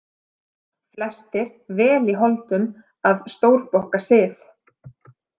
Flestir vel í holdum að stórbokka sið.